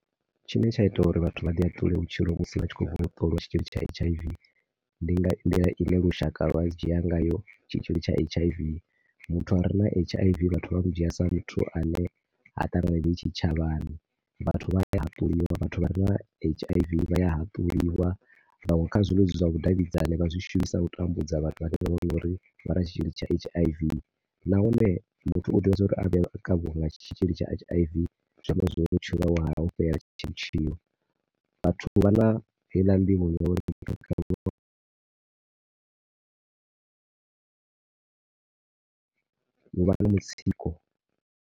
Tshine tsha ita uri vhathu vha ḓihaṱule vhutshilo musi vha tshi khou tea u ṱolwa tshitzhili tsha H_I_V ndi nga nḓila i ne lushaka lwa dzhi ngayo tshitzhili tsha H_I_V. Muthu a re na H_I_V vhathu vha mu dzhia sa muthu a ne ha ṱanganedzei tshitshavhani. Vhathu vhane vha na H_I_V vha a haṱuliwa ngauri kha zwiṅwe zwithu zwa vhudavhidzani vha zwi shumisa u tambudza vhathu vhane vha vha vho ri vha na tshitzhili tsha H_I_V. Nahone muthu u tea zwa uri a vhe o kavhiwa nga tshitzhili tsha H_I_V zwi amba uri vhutshilo hawe ho fhela ha . Vhathu vha na heiḽa nḓivho ya uri u vha na mitsiko.